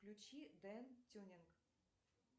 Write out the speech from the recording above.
включи ден тюнинг